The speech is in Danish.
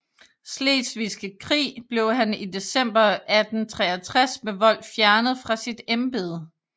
Slesvigske Krig blev han i december 1863 med vold fjernet fra sit embede